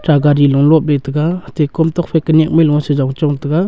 ta gari lo lop le taga atte kom tokphai ka nyakmai lo si jong chong taga.